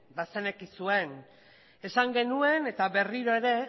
bazenekiten esan genuen eta berriro ere